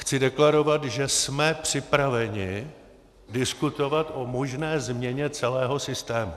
Chci deklarovat, že jsme připraveni diskutovat o možné změně celého systému.